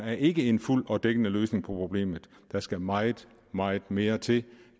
ikke en fuldt ud dækkende løsning på problemet der skal meget meget mere til